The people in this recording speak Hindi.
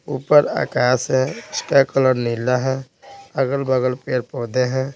ऊपर आकाश है उसका कलर वाइट है अगल-बगल पेड़-पौधे हैं।